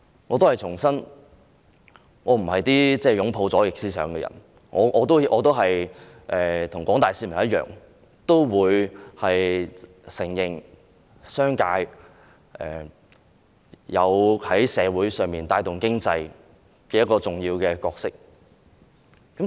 我重申，我不是擁抱左翼思想的人，我跟廣大市民一樣，承認在社會上商界有帶動經濟發展的重要角色。